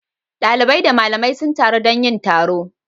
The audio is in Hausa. Dalibai da malamai sun taru don yin taro.